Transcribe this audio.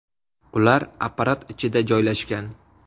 Ular apparat ichida joylashgan.